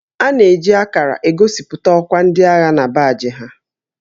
A na-eji akarà egosipụta ọkwá ndị agha na baajị ha